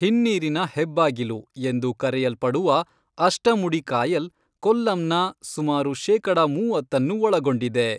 ಹಿನ್ನೀರಿನ ಹೆಬ್ಬಾಗಿಲು ಎಂದು ಕರೆಯಲ್ಪಡುವ ಅಷ್ಟಮುಡಿ ಕಾಯಲ್, ಕೊಲ್ಲಂನ ಸುಮಾರು ಶೇಕಡ ಮೂವತ್ತನ್ನು ಒಳಗೊಂಡಿದೆ.